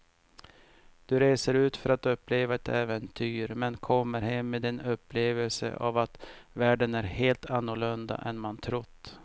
Du reser ut för att uppleva ett äventyr men kommer hem med en upplevelse av att världen är helt annorlunda än man trott.